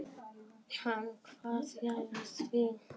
Hann kvað já við því.